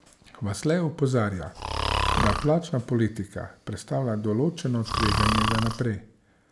Vasle opozarja, da plačna politika predstavlja določeno tveganje za naprej.